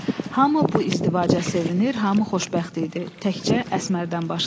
Hamı bu izdivaca sevinir, hamı xoşbəxt idi, təkcə Əsmərdən başqa.